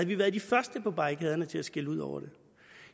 vi været de første på barrikaderne til at skælde ud over det